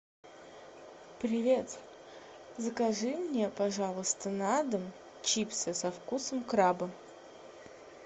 привет закажи мне пожалуйста на дом чипсы со вкусом краба